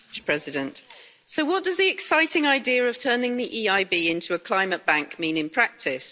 Mr President, so what does the exciting idea of turning the EIB into a climate bank mean in practice?